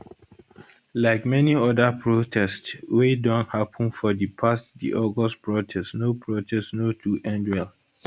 like many oda protests wey don happun for di past di august protest no protest no too end well